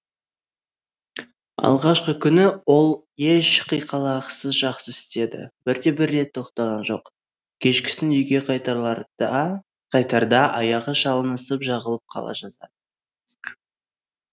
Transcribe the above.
алғашқы күні ол еш қиқалақсыз жақсы істеді бірде бір рет тоқтаған жоқ кешкісін үйге қайтарда аяғы шалынысып жығылып қала жаздады